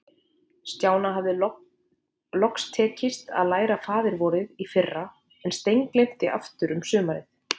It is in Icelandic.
Stjána hafði loks tekist að læra Faðir-vorið í fyrra, en steingleymt því aftur um sumarið.